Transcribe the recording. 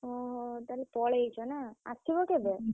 ଓହୋ! ତା ହେଲେ ପଲେଇଛ ନା ଆସିବ କେବେ?